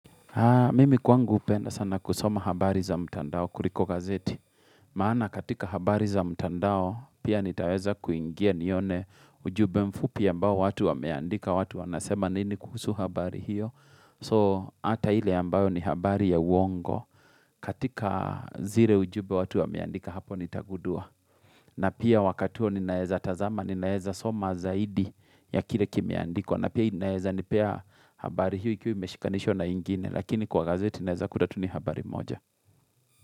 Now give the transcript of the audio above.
Mimi kwangu hupenda sana kusoma habari za mtandao, kuriko gazeti. Maana katika habari za mtandao, pia nitaweza kuingia nione ujumbe mfupi ambao watu wameandika, watu wanasema nini kuhusu habari hiyo. So ata ile ya ambayo ni habari ya uongo, katika zire ujube watu wameandika hapo nitagudua. Na pia wakati huo ninaweza tazama, ninawezasoma zaidi ya kile kime andikwa. Na pia inaeza nipea habari hiyo ikiwemeshikanisho na ingine Lakini kwa gazeti inaeza kuta tu ni habari moja.